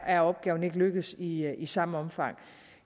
er opgaven ikke lykkedes i i samme omfang